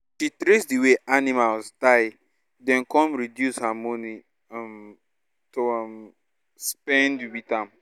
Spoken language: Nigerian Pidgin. the way animals die den con reduce her money um to um spend with am